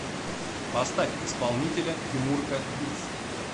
поставь исполнителя тимурка битс